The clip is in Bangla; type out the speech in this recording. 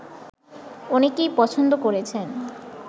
অনেকেই পছন্দ করেছেন